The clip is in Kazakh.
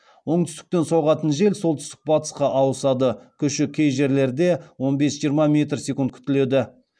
оңтүстіктен соғатын жел солтүстік батысқа ауысады күші кей жерлерде он бес жиырма метр секунд күтіледі